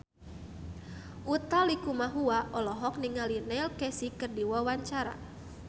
Utha Likumahua olohok ningali Neil Casey keur diwawancara